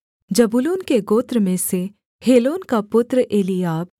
जबूलून के गोत्र में से हेलोन का पुत्र एलीआब